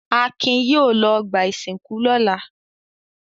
Akin yóò lọ ọgbà-ìsìnkú lọ́la!